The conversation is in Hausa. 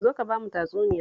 Zo ka ba mu tatsuniya